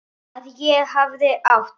Að ég hafi átt?